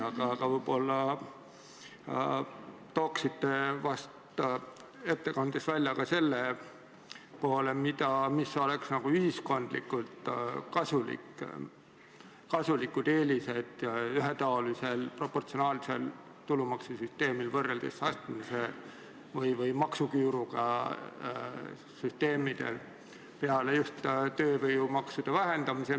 Aga võib-olla toote välja ka selle poole, mis oleksid ühiskondlikult kasulikud eelised ühetaolisel proportsionaalsel tulumaksusüsteemil, võrreldes astmelise või maksuküüruga süsteemidega, peale just tööjõumaksude vähendamise.